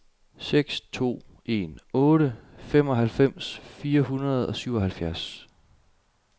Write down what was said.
seks to en otte femoghalvfems fire hundrede og syvoghalvfjerds